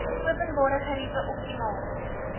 openbare geriewe optimaal